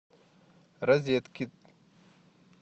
розеткед